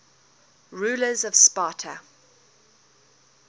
rulers of sparta